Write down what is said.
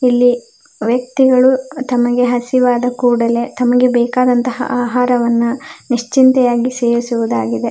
ಇಲ್ಲಿ ವ್ಯಕ್ತಿಗಳು ತಮಗೆ ಹಸಿವಾದ ಕೂಡಲೆ ತಮಗೆ ಬೇಕಾದಂತಹ ಆಹಾರವನ್ನ ನಿಶ್ಚಿಂತೆಯಾಗಿ ಸೇವಿಸುವುದಾಗಿದೆ .